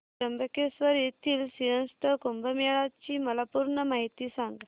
त्र्यंबकेश्वर येथील सिंहस्थ कुंभमेळा ची मला पूर्ण माहिती सांग